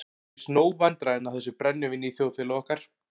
Það eru víst nóg vandræðin af þessu brennivíni í þjóðfélagi okkar.